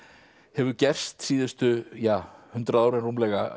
hefur gerst síðustu ja hundrað árin rúmlega